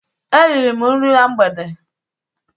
E riri m nri na mgbede